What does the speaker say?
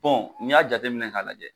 n'i y'a jateminɛ k'a lajɛ.